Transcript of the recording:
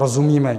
Rozumíme.